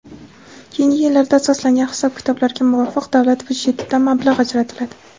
keyingi yillarda asoslangan hisob-kitoblarga muvofiq davlat byudjetidan mablag‘ ajratiladi.